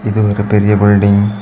இது ஒரு பெரிய பில்டிங் .